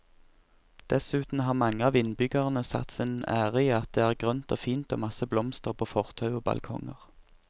Dessuten har mange av innbyggerne satt sin ære i at det er grønt og fint og masse blomster på fortau og balkonger.